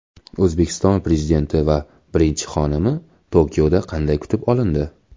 O‘zbekiston Prezidenti va birinchi xonimi Tokioda qanday kutib olindi?